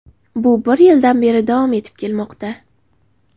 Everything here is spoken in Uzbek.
Bu bir yildan beri davom etib kelmoqda.